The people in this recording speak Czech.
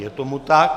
Je tomu tak.